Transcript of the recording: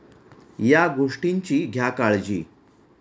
या' गोष्टींची घ्या काळजी